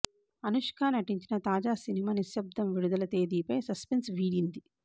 అనుష్క నటించిన తాజా సినిమా నిశ్శబ్దం విడుదల తేదీపై సస్పెన్స్ వీడింది